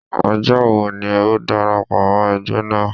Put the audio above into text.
Ọjọ́ wo ni o darapọ̀ mọ́ ẹgbẹ́ naa?